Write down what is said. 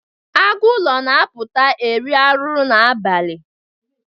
Agụ ụlọ na-apụta iri arụrụ n'abalị.